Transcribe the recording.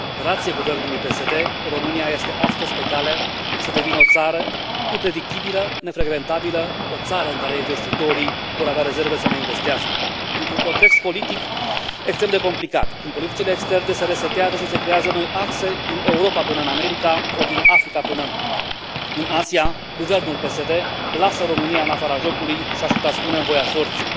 Grație guvernului PSD, România este astăzi pe cale să devină o țară e impredictibilă, nefrecventabilă, o țară în care investitorii vor avea rezerve să mai investească. Într un context politic extrem de complicat, când politicile externe se resetează și se creează noi axe din Europa până în America, ori din Africa până în Asia, guvernul PSD lasă România în afara jocului, și, aș putea spune, în voia sorții.